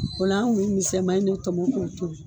O la an kun bi misɛman in de tɔmɔ k'o tobi